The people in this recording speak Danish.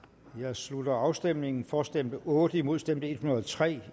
slutter afstemningen for stemte otte imod stemte en hundrede og tre